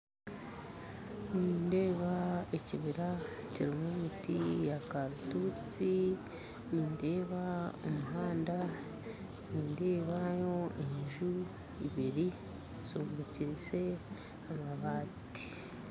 Nindeeba ekibira kirumu miti ya karitusi nindeeba omuhanda nindebayo enju ibiri zombekyise amabaati